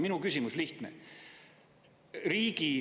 Minu küsimus on lihtne.